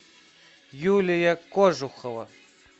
юлия кожухова